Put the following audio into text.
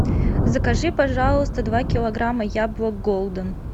закажи пожалуйста два килограмма яблок голден